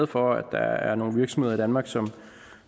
for at der er nogle virksomheder i danmark som